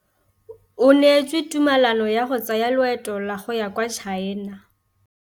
O neetswe tumalanô ya go tsaya loetô la go ya kwa China.